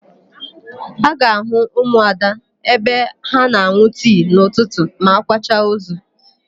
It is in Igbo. A ga-àhụ́ ụmụada ebe ha na-an̄ụ tii n'ụtụtụ ma a kwacha ozu.